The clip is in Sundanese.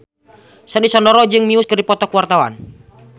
Sandy Sandoro jeung Muse keur dipoto ku wartawan